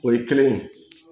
O ye kelen ye